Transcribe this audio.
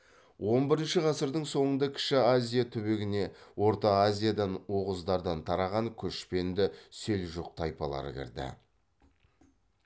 он бірінші ғасырдың соңында кіші азия түбегіне орта азиядан оғыздардан тараған көшпенді селжұқ тайпалары кірді